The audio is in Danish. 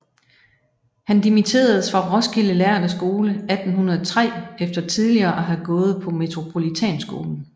Han dimitteredes fra Roskilde lærde Skole 1803 efter tidligere at have gået på Metropolitanskolen